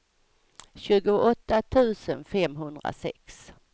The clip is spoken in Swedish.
tjugoåtta tusen femhundrasex